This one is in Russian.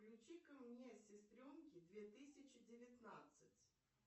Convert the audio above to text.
включи ка мне сестренки две тысячи девятнадцать